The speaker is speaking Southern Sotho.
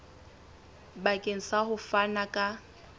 bakeng sa ho fana ka